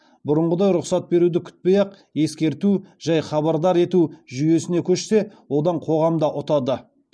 бұрынғыдай рұқсат беруді күтпей ақ ескерту жай хабардар ету жүйесіне көшсе одан қоғам да ұтады